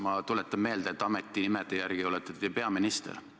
Ma tuletan meelde, et ametinimetuse järgi olete te peaminister.